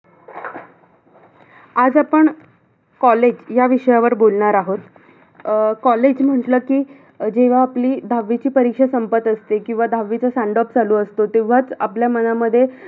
आज आपण college या विषयावर बोलणार आहोत. अं college म्हटल कि, जेव्हा आपली दहावीची परीक्षा संपत असते किंवा दहावीचा send off चालू असतो तेव्हाच आपल्या मनामध्ये अं